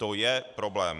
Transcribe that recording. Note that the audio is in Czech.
To je problém.